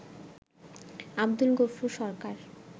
Abdul Gafur Sarkar